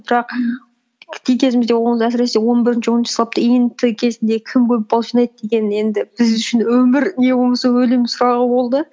бірақ кезімізде әсіресе он бірінші оныншы сыныпта ент кезінде кім көп бал жинайды деген енді біз үшін өмір не болмаса өлім сұрағы болды